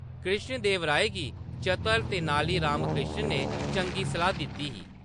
कृष्णदेवराय गी चतर तेनाली रामकृष्ण ने चंगी सलाह्‌‌ दित्ती ही।